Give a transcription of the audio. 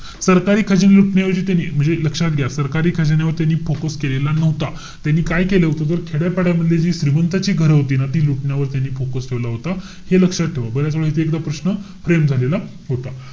सरकारी खजिने लुटण्याऐवजी त्यांनी, म्हणजे लक्षात घ्या. सरकारी खजिन्यावरती त्यांनी focus केलेला नव्हता. त्यांनी काय केलं होतं? खेड्यापाड्यामधले जे श्रीमंतांची घरं होती ना ती लुटण्यावरती त्यांनी focus ठेवला होता. हे लक्षात ठेवा. बर्याचवेळी इथे एकदा प्रश्न frame झालेला होता.